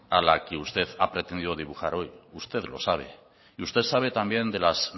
a la que usted ha pretendido dibujar hoy usted lo sabe y usted sabe también de las